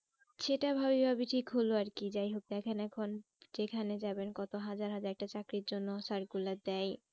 সেটা ঠিক হলো আর কি যাই হোক দেখেন এখন যেখানে যাবেন কত একটা চাকরির জন্য circular দেয়